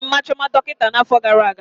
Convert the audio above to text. Emere Mma Chioma dọkịta na afọ gara aga